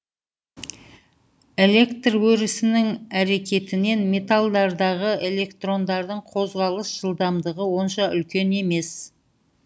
электр өрісінің әрекетінен металдардағы электрондардың қозғалыс жылдамдығы онша үлкен емес